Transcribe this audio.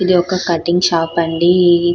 ఇది ఒక cutting shop అండీ --